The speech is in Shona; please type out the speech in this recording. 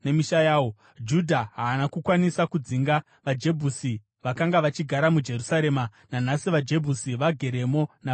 Judha haana kukwanisa kudzinga vaJebhusi vakanga vachigara muJerusarema; nanhasi vaJebhusi vageremo navanhu veJudha.